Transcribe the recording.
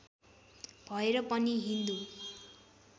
भएर पनि हिन्दू